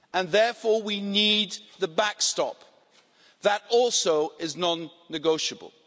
Therefore we need the backstop that also is non negotiable.